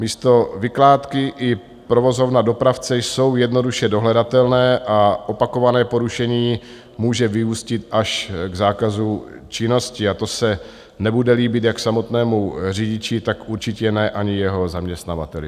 Místo vykládky i provozovna dopravce jsou jednoduše dohledatelné a opakované porušení může vyústit až k zákazu činnosti a to se nebude líbit jak samotnému řidiči, tak určitě ne ani jeho zaměstnavateli.